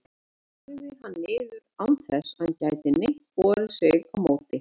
og lagði hann niður, án þess að hann gæti neitt borið sig á móti.